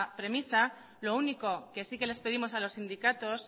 premisa lo único que euzko abertzaleak sí que les pedimos a los sindicatos